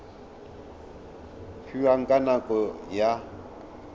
fiwang ka nako e a